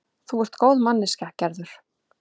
Þú ert góð manneskja, Gerður.